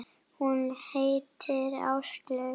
Hún heitir Áslaug.